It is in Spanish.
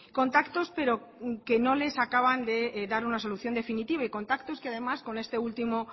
contactos pero que no les acaban de dar una solución definitiva y contactos que además con este último